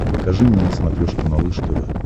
покажи мне на смотрешке малыш тв